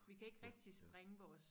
Vi kan ikke rigtig springe vores